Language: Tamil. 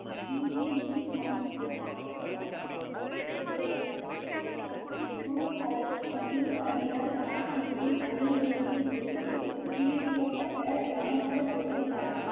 இங்கே மே பதினொன்று ஆயிரத்தி அறுநூத்தி எண்பத்தி ஐந்து அன்று குரு ஹர்~ குரு ஹரி ராய் சாஹிபின் அரியணையில் இருந்து விடுவிக்கப்பட்ட ராம்ராய் குரு சாஹிப்